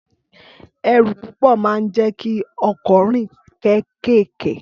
Ẹrù púpò ḿa ń jẹ kì ọ̀kọ́ rìn kẹkẹkẹ